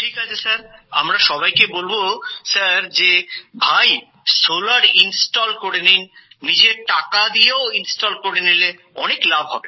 ঠিক আছে স্যার আমরা সবাইকে বলবো স্যার যে ভাই সোলার ইন্সটল করে নিন নিজের টাকা দিয়েও ইন্সটল করে নিলে অনেক লাভ হবে